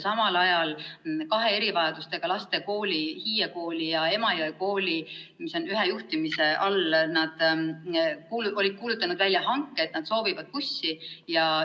Samal ajal olid kaks erivajadustega laste kooli, Hiie kool ja Emajõe kool, mis on ühe juhtimise all, kuulutanud välja hanke ja andnud teada, et nad soovivad bussi.